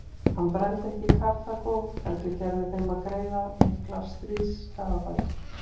Hann brenndi ekki Karþagó heldur gerði þeim að greiða miklar stríðsskaðabætur.